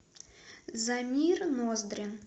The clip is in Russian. замир ноздрин